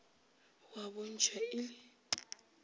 a a bontšhwa e le